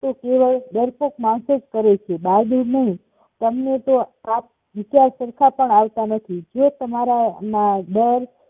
કેવળ ડરપોક માણસો જ કરે છે બહાદુર નહિ તને તો આપ વિચાર સરખા પણ આવતા નથી જેતમારા ના ડર